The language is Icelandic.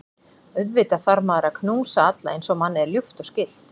Auðvitað þarf maður að knúsa alla eins og manni er ljúft og skylt.